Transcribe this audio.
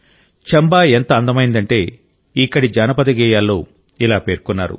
చంబా ఎంత అందమైందంటే ఇక్కడి జానపద గేయాల్లో ఇలా పేర్కొన్నారు